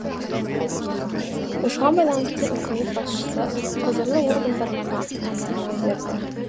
осыған байланысты үкімет басшысы құзырлы органдарға нақты тапсырма берді